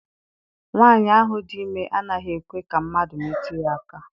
Nwaanyi ahụ dị ime anaghị ekwe ka mmadụ metụ ya aka.